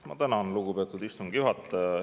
Ma tänan, lugupeetud istungi juhataja!